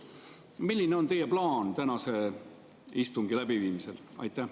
Milline on teie plaan tänase istungi läbiviimisel?